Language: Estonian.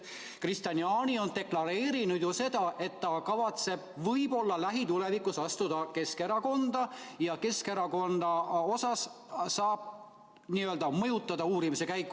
Kristian Jaani on ju deklareerinud seda, et ta kavatseb võib-olla lähitulevikus astuda Keskerakonda, ja ehk saab ta mõjutada Keskerakonnaga seotud uurimise käiku.